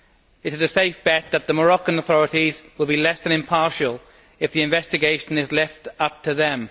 It is a safe bet that the Moroccan authorities will be less than impartial if the investigation is left up to them.